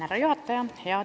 Härra juhataja!